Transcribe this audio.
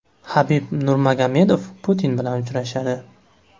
Habib Nurmagomedov Putin bilan uchrashadi.